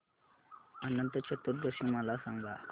अनंत चतुर्दशी मला सांगा